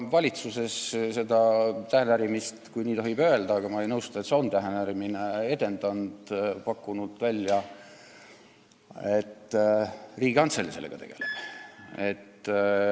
Ma olen seda tähenärimist – kui nii tohib öelda, aga ma ei nõustu, et see on tähenärimine – ka valitsuses edendanud, pakkunud välja, et Riigikantselei sellega tegeleks.